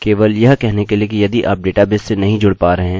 हमें ढेर सारी व्यर्थ वस्तु पेज पर मिलेगी